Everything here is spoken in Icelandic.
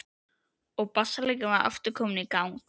Og bassaleikarinn var aftur kominn í gang.